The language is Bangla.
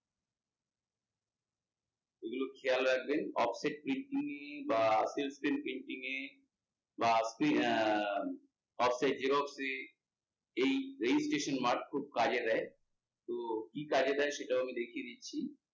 এগুলো খেয়াল রাখবেন বা printing এর বা আহ এই registration mark খুব কাজে দেয়, তো কি কাজে সেটাও আমি দেখিয়ে দিচ্ছি।